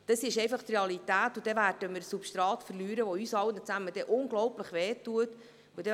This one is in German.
Dies ist die Realität, denn dann werden wir Substrat verlieren, was uns unglaublich wehtun wird.